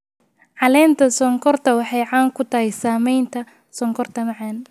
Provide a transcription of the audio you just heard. Caleenta sonkorta waxay caan ku tahay samaynta sonkorta macaan.